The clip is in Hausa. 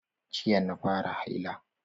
Jiya na fara haila.